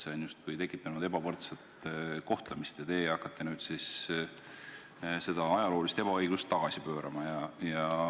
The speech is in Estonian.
See on justkui tekitanud ebavõrdset kohtlemist ja teie hakkate nüüd seda ajaloolist ebaõiglust tagasi pöörama.